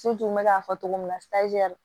n bɛ k'a fɔ cogo min na